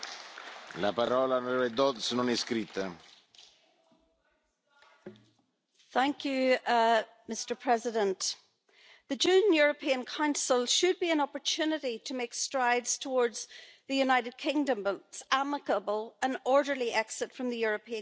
Mr President, the June European Council should be an opportunity to make strides towards the United Kingdom's amicable and orderly exit from the European Union.